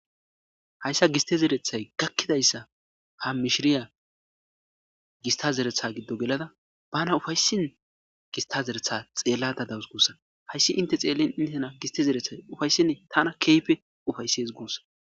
Hayssa gistte zeretay gakidaysa ha mishiriya gistta zereta gido gelada bana ufayisin gistta zereta xellayida dayisu gussa hayssi inte xellin intena gistte zeretay ufayisene tana kehipe ufayises gusa.